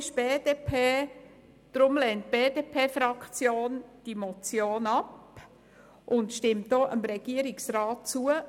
Deshalb lehnt die BDP-Fraktion diese Motion ab und stimmt dem Regierungsrat zu.